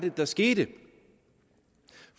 der skete